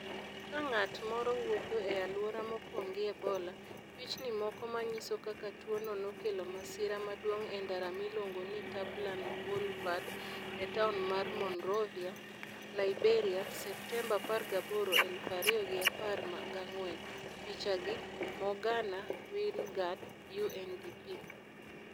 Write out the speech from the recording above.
Ka ng'at moro wuotho e alwora mopong ' gi Ebola, pichni moko ma nyiso kaka tuwono nokelo masira maduong ' e ndara miluongo ni Tubman Boulevard e taon mar Monrovia, Liberia, Septemba 18, elufu ariyo gi apar gangwen': Picha gi: Morgana Wingard/UNDP.